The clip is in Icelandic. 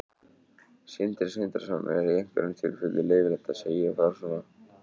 Sindri Sindrason: Er í einhverjum tilfellum leyfilegt að segja frá svona upplýsingum?